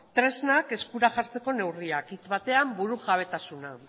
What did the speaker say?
tresnak eskura jartzeko neurriak hitz batean burujabetasuna